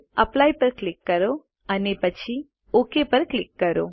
apply પર click કરો અને પછી ઓક પર ક્લિક કરો